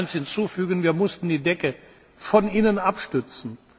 Ich will eines hinzufügen Wir mussten die Decke von innen abstützen.